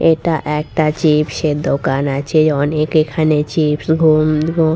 এটা একটা চিপস এর দোকান আছে অনেক এখানে চিপস ঘুম ঘু--